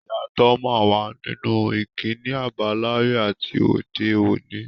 Ìyàtọ̀ máa wà nínú ìkíni àbáláyé àti òde-òní.